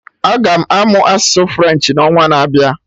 Aga m amụ asụsụ French n'ọnwa na-abịa